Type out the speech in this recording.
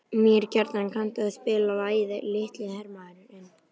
Mýrkjartan, kanntu að spila lagið „Litli hermaðurinn“?